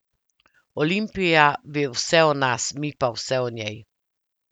Olimpija ve vse o nas, mi pa vse o njej.